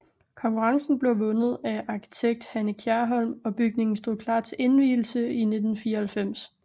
Konkurrencen blev vundet at arkitekt Hanne Kjærholm og bygningen stod klar til indvielse i 1994